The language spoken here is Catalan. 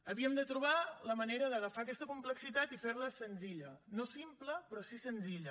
havíem de trobar la manera d’agafar aquesta complexitat i fer la senzilla no simple però sí senzilla